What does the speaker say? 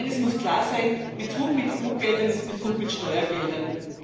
Eines muss klar sein Betrug mit EU Geldern ist Betrug mit Steuergeldern.